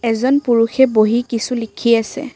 এজন পুৰুষে বহি কিছু লিখি আছে।